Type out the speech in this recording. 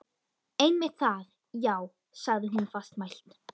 Einmitt það, já- sagði hún fastmælt.